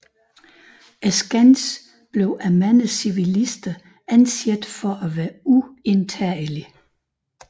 Skansen blev af mange civilister anset for at være uindtagelig